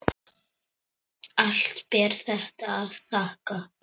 Allt ber þetta að þakka.